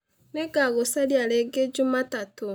Nĩ ngagũcaria rĩngĩ Njumatatũ